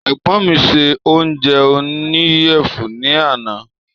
Ègbón mí ṣe oúnjẹ oníyèfun ní àná